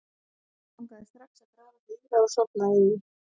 Hann langaði strax að grafa sig í það og sofna í því.